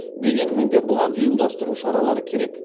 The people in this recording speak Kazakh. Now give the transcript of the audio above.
дегенмен де бұған ұйымдастыру шаралары керек